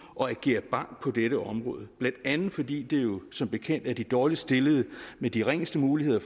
og agere bank på dette område blandt andet fordi det som bekendt er de dårligst stillede med de ringeste muligheder